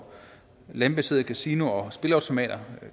landbaserede kasinoer og spilleautomater